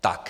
Tak.